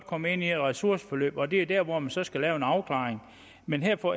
komme ind i et ressourceforløb og det er dér hvor man så skal lave en afklaring men her får